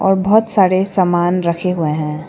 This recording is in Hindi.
और बहोत सारे सामान रखे हुए हैं।